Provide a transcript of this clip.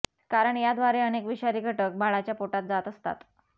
कारण या द्वारे अनेक विषारी घटक बाळाच्या पोटात जात असतात